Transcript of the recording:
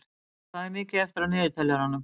Millý, hvað er mikið eftir af niðurteljaranum?